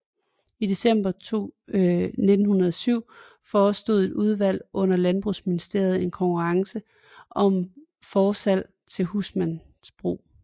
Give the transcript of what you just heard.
I december 1907 forestod et udvalg under Landbrugsministeriet en konkurrence om forslag til husmandsbrug